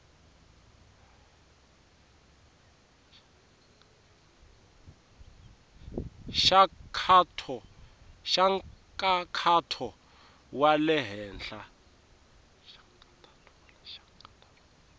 xa nkhaqato wa le henhla